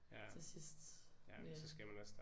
Til sidst med